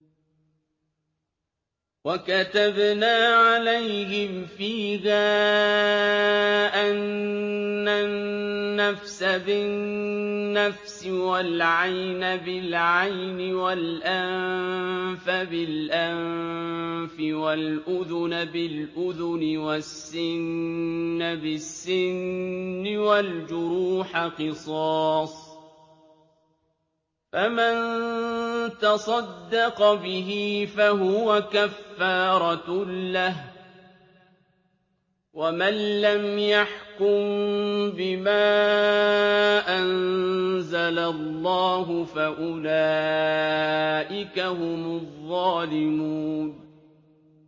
وَكَتَبْنَا عَلَيْهِمْ فِيهَا أَنَّ النَّفْسَ بِالنَّفْسِ وَالْعَيْنَ بِالْعَيْنِ وَالْأَنفَ بِالْأَنفِ وَالْأُذُنَ بِالْأُذُنِ وَالسِّنَّ بِالسِّنِّ وَالْجُرُوحَ قِصَاصٌ ۚ فَمَن تَصَدَّقَ بِهِ فَهُوَ كَفَّارَةٌ لَّهُ ۚ وَمَن لَّمْ يَحْكُم بِمَا أَنزَلَ اللَّهُ فَأُولَٰئِكَ هُمُ الظَّالِمُونَ